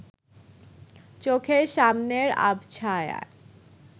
চোখের সামনের আবছায়ায়